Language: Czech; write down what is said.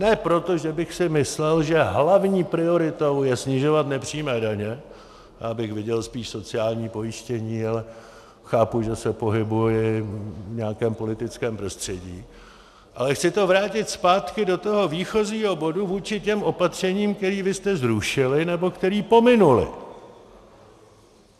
Ne proto, že bych si myslel, že hlavní prioritou je snižovat nepřímé daně, já bych viděl spíš sociální pojištění, ale chápu, že se pohybuji v nějakém politickém prostředí, ale chci to vrátit zpátky do toho výchozího bodu vůči těm opatřením, která vy jste zrušili nebo která pominula.